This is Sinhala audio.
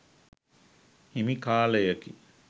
හිමි කාලයකි.